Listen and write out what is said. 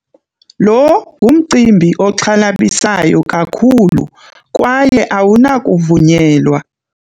Lo ngumcimbi oxhalabisayo kakhulu kwaye awunakuvunyelwa.